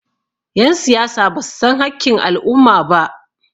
yansiyasa ba su san hakkin al'umma ba